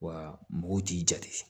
Wa mɔgɔw t'i jate